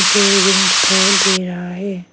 मुझे रूम दिखाई दे रहा है।